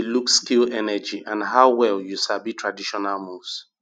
judges dey look skill energy and how well you sabi traditional moves